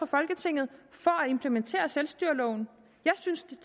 folketinget for at implementere selvstyreloven jeg synes